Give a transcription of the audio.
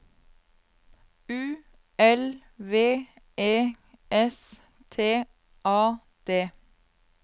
U L V E S T A D